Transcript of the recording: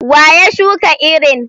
Wa ya shuka irin?